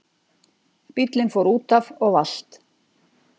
Bíllinn fór útaf og valt